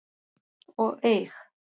og eig.